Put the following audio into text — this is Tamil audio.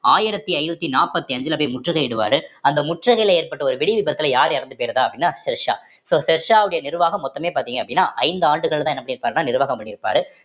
ஆயிரத்தி ஐந்நூத்தி நாற்பத்தி அஞ்சுல போய் முற்றுகையிடுவாரு அந்த முற்றுகையில ஏற்பட்ட ஒரு வெடி விபத்துல யாரு இறந்து போயிருதா அப்படின்னா ஷெர்ஷா so ஷெர்ஷாவுடைய நிர்வாகம் மொத்தமே பார்த்தீங்க அப்படின்னா ஐந்து ஆண்டுகள்தான் என்ன பண்ணி இருப்பாருன்னா நிர்வாகம் பண்ணிருப்பாரு